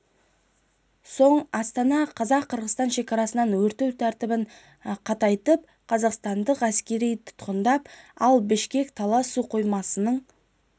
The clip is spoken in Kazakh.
соң астана қазақ-қырғыз шекарасынан өту тәртібін қатайтып қырғызстандық әскериді тұтқындап ал бішкек талас су қоймасының